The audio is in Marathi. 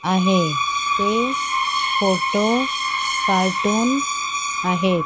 आहे ते फोटो कार्टून आहेत.